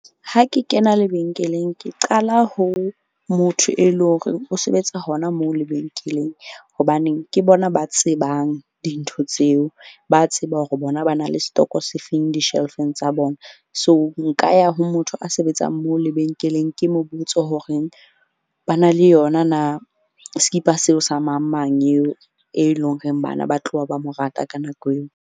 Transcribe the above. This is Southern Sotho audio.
Ha ke kena lebenkeleng ke qala ho motho, e leng horeng o sebetsa hona moo lebenkeleng. Hobaneng ke bona ba tsebang dintho tseo. Ba tseba hore bona ba na le setoko se feng di-shelve-ng tsa bona. So, nka ya ho motho a sebetsang moo lebenkeleng, ke mo botse horeng ba na le yona na sekipa seo sa mang mang yeo e leng horeng bana ba tloha, ba mo rata ka nako eo.